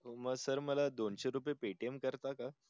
म सर मला दोनशे रुपये paytm करता का